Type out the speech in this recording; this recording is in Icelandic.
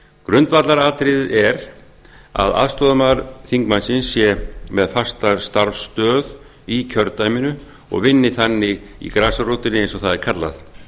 grundvallaratriðið er að aðstoðarmaður þingmannsins sé með fasta starfsaðstöðu í kjördæminu og vinni þannig í grasrótinni eins og það er kallað